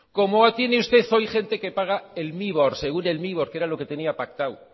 como tiene usted hoy gente que paga el mibor según el mibor que era lo que tenía pactado